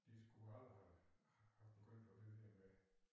De skulle aldrig have have begyndt at byde hende med